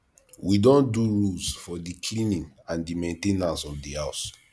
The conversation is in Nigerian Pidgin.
we don do rules for di cleaning and di main ten ance of di house